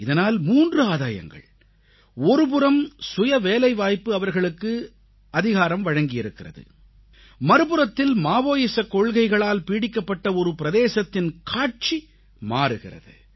இதனால் 3 ஆதாயங்கள் ஒருபுறம் சுயவேலைவாய்ப்பு அவர்களுக்கு அதிகாரம் வழங்கியிருக்கிறது மறுபுறத்தில் மாவோயிச கொள்கைகளால் பீடிக்கப்பட்ட ஒரு பிரதேசத்தின் காட்சி மாறுகிறது